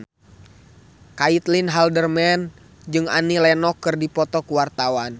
Caitlin Halderman jeung Annie Lenox keur dipoto ku wartawan